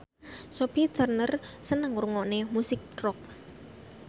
Sophie Turner seneng ngrungokne musik rock